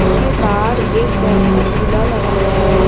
उसके बाहर एक बैत का झूला लगा हुआ हैं।